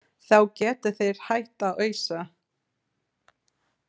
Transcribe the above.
Þá geta þeir hætt að ausa.